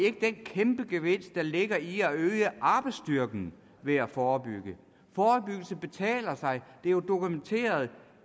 ikke den kæmpegevinst der ligger i at øge arbejdsstyrken ved at forebygge forebyggelse betaler sig det er jo dokumenteret